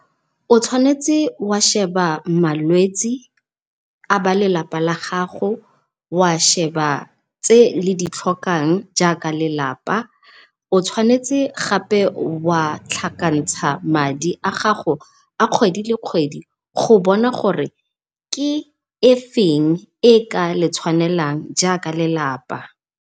O tshwanetse o a sheba malwetse a ba lelapa la gago, wa sheba tse le ditlhokang jaaka lelapa. O tshwanetse gapa wa tlhakantsa madi a gago a kgedi le kgwedi go bona gore ke e feng e ka letshwanelang jaaka lelapa.